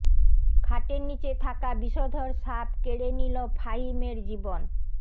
খাটের নিচে থাকা বিষধর সাপ কেড়ে নিল ফাহিমের জীবন